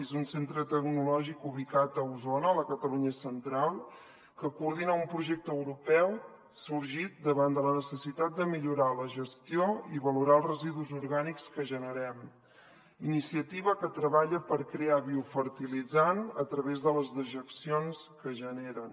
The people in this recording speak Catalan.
és un centre tecnològic ubicat a osona a la catalunya central que coordina un projecte europeu sorgit davant de la necessitat de millorar la gestió i valorar els residus orgànics que generem una iniciativa que treballa per crear biofertilitzant a través de les dejeccions que es generen